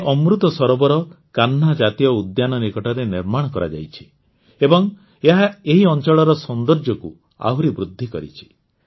ଏହି ଅମୃତ ସରୋବର କାହ୍ନା ଜାତୀୟ ଉଦ୍ୟାନ ନିକଟରେ ନିର୍ମାଣ କରାଯାଇଛି ଏବଂ ଏହା ଏହି ଅଂଚଳର ସୌନ୍ଦର୍ଯ୍ୟକୁ ଆହୁରି ବୃଦ୍ଧି କରିଛି